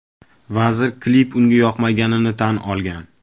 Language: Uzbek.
Vazir klip unga yoqmaganini tan olgan.